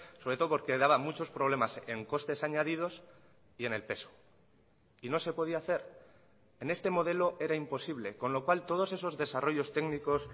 sobre todo porque daba muchos problemas en costes añadidos y en el peso y no se podía hacer en este modelo era imposible con lo cual todos esos desarrollos técnicos